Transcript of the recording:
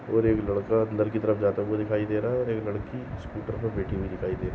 और एक लड़का अंदर की तरफ जाते हुए दिखाई दे रहा है और एक लड़की स्कूटर पर बैठी हुयी दिखाई दे र --